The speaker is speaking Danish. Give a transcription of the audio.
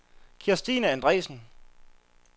Kirstine Andresen